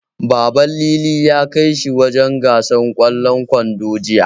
Baban Lili ya kai shi wajen gasar ƙwallon ƙwando, Jiya.